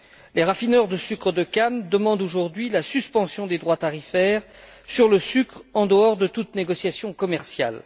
Les raffineurs de sucre de canne demandent aujourd'hui la suspension des droits tarifaires sur le sucre en dehors de toute négociation commerciale.